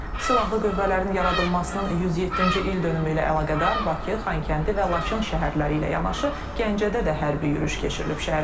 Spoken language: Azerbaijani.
Silahlı Qüvvələrin yaradılmasının 107-ci ildönümü ilə əlaqədar Bakı, Xankəndi və Laçın şəhərləri ilə yanaşı Gəncədə də hərbi yürüyüş keçirilib.